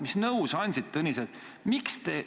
Mis nõu sa andsid Tõnisele?